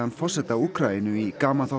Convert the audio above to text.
forseta Úkraínu í